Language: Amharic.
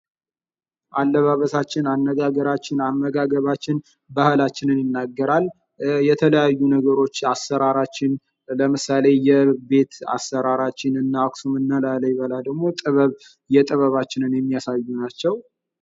አለባበሳችን አነጋገራችንን አመጋገባችን ባህላችንን ይናገራል:: የተለያዩ ነገሮች አሰራራችን ለምሳሌ የቤት አሰራራችንን እና ክሱም ላሊበላ ደግሞ የጥበባችንን የሚያሳዩ ናቸው ::